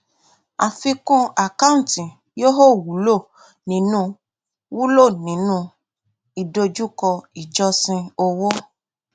àfikún àkáǹtì yóò wulo nínú wulo nínú ìdojúkọ ìjọsìn owó